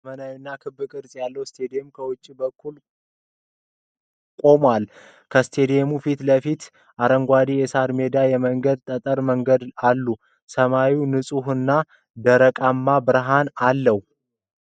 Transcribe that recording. ዘመናዊውና ክብ ቅርጽ ያለው ስታዲየም ከውጪው በኩል ቆሟል። ከስታዲየሙ ፊት ለፊት ሰፊ አረንጓዴ የሳር ሜዳና የመንገድ ጠጠር መንገዶች አሉ። ሰማዩ ንፁህና ደማቅ ብርሃን አለው።